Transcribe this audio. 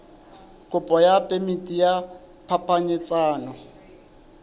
kopo ya phemiti ya phapanyetsano